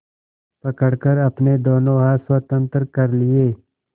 पकड़कर अपने दोनों हाथ स्वतंत्र कर लिए